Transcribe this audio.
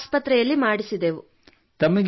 ಪ್ರಯಾಗ್ ಆಸ್ಪತ್ರೆಯಲ್ಲಿ ಮಾಡಿಸಿದೆವು